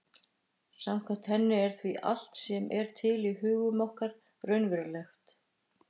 Samkvæmt henni er því allt sem er til í hugum okkar raunverulegt.